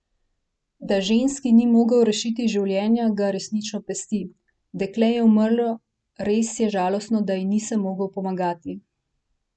Da ženski ni mogel rešiti življenja, ga resnično pesti: "Dekle je umrlo, res je žalostno, da ji nisem mogel pomagati.